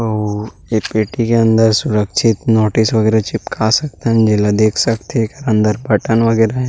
आउ ये पेटी के अंदर सुरक्षित नोटिस वगैरह चिपका सकथन जेला देख सकथे अंदर बटन वगैरह हैं।